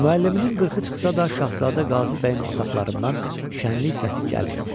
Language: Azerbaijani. Müəlliminin qırxı çıxsa da Şahzadə Qazı bəyin otaqlarından şənliyi səsi gəlmirdi.